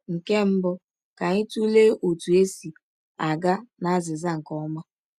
Nke mbụ, ka anyị tụlee otú e si aga n’azịza nke ọma.